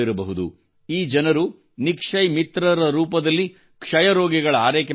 ಈ ಜನರು ನಿಕ್ಷಯ್ ಮಿತ್ರರ ರೂಪದಲ್ಲಿ ಕ್ಷಯ ರೋಗಿಗಳ ಆರೈಕೆ ಮಾಡುತ್ತಿದ್ದಾರೆ